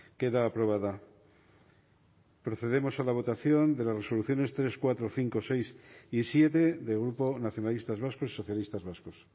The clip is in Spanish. queda aprobada procedemos a la votación de las resoluciones tres cuatro cinco seis y siete del grupo nacionalistas vascos y socialistas vascos